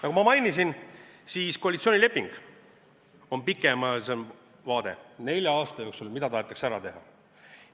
Nagu ma mainisin, siis koalitsioonileping on pikemaajalisem vaade – mida tahetakse nelja aasta jooksul ära teha.